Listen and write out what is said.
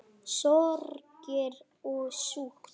Sorgir og sút